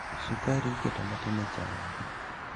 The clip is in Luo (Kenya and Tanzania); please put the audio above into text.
Sukari iketo matin e chai